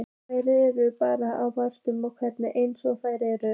Þær eru bara báðar ágætar eins og þær eru.